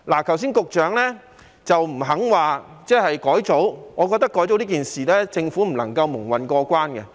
局長剛才不肯說改組，我覺得改組這件事，政府不能夠蒙混過關。